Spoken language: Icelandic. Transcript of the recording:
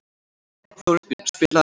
Þórbjörn, spilaðu lag.